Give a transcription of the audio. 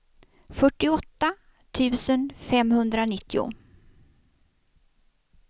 fyrtioåtta tusen femhundranittio